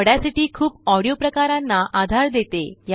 Audacity खूपऑडिओ प्रकारांना आधार देते